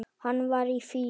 Hann var í fýlu.